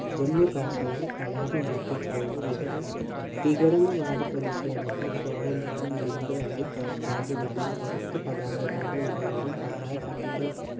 ജമ്മു കാശ്മീരിൽ കലാപം വർദ്ധിച്ചതോടെ വിഘട വിഘടനവാദി പ്രതിഷേധക്കാർ സ്വാതന്ത്ര്യ ദിനം ആചരിക്കും. കറുത്ത പതാകകളുടെ ഉപയോഗം പതാക കത്തിക്കൽ